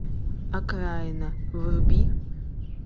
окраина вруби